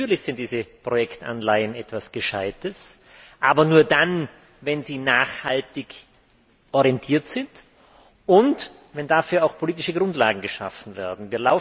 Natürlich sind diese Projektanleihen etwas Gescheites, aber nur dann, wenn sie nachhaltig orientiert sind, und wenn dafür auch politische Grundlagen geschaffen werden.